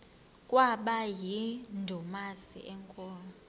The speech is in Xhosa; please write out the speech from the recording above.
kwaba yindumasi enkulu